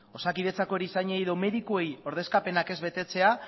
osakidetzako erizainei edo medikuei ordezkapenak ez betetzea